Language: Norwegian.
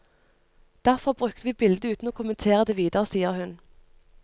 Derfor brukte vi bildet uten å kommentere det videre, sier hun.